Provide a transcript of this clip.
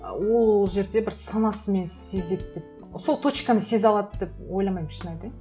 ол жерде бір санасымен сезеді деп сол точканы сезе алады деп ойламаймын шын айтайын